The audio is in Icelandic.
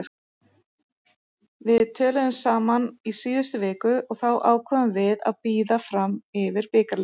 Við töluðum saman í síðustu viku og þá ákváðum við að bíða fram yfir bikarleikinn.